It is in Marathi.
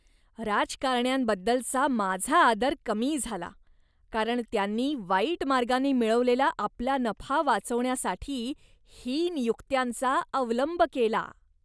राजकारण्यांबद्दलचा माझा आदर कमी झाला, कारण त्यांनी वाईट मार्गाने मिळवलेला आपला नफा वाचवण्यासाठी हीन युक्त्यांचा अवलंब केला.